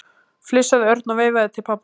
flissaði Örn og veifaði til pabba síns.